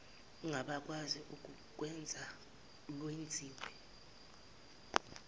ngabakwazi ukulwenza lwenzisiswe